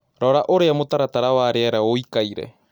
Rora ũrĩa mũtaratara wa rĩera ũĩkaire